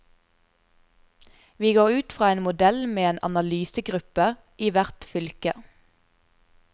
Vi går ut fra en modell med en analysegruppe i hvert fylke.